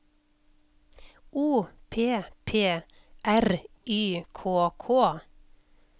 O P P R Y K K